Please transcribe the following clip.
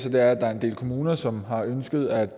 at der er en del kommuner som har ønsket at